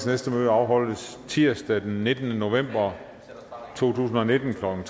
næste møde afholdes tirsdag den nittende november to tusind og nitten klokken